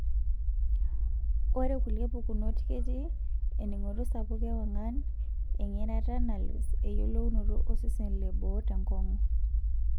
Ore kulie pukunot ketii, ening'oto sapuk ewang'an, eng'erata nalus, eyiolounoto osesen leboo tenkong'u.